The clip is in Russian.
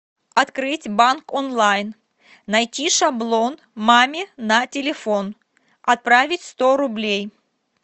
открыть банк онлайн найти шаблон маме на телефон отправить сто рублей